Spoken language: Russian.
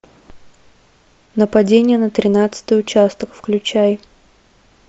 нападение на тринадцатый участок включай